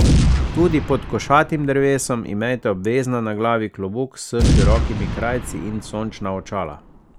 Tudi pod košatim drevesom imejte obvezno na glavi klobuk s širokimi krajci in sončna očala.